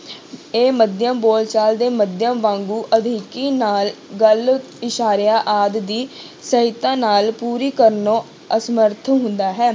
ਇਹ ਮਾਧਿਅਮ ਬੋਲਚਾਲ ਦੇ ਮਾਧਿਅਮ ਵਾਂਗੂ ਅਧਿਕੀ ਨਾਲ ਗੱਲ ਇਸ਼ਾਰਿਆਂ ਆਦਿ ਦੀ ਸਹਾਇਤਾ ਨਾਲ ਪੂਰੀ ਕਰਨੋ ਅਸਮਰਥ ਹੁੰਦਾ ਹੈ।